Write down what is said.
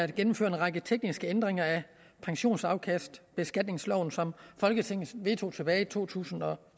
gennemføre en række tekniske ændringer af pensionsafkastbeskatningsloven som folketinget vedtog tilbage i to tusind og